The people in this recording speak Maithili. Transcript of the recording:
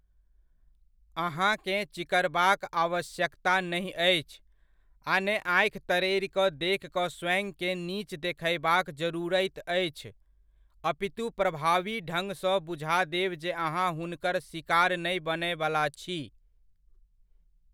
अहाँकेँ चिकरबाक आवश्यकता नहि अछि, आ ने आँखि तरेरि कऽ देखि कऽ स्वयंकेँ नीच देखयबाक जरूरति अछि, अपितु प्रभावी ढंगसँ बुझा देब जे अहाँ हुनकर सिकार नहि बनयबला छी।